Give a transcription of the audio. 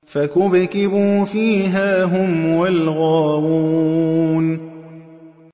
فَكُبْكِبُوا فِيهَا هُمْ وَالْغَاوُونَ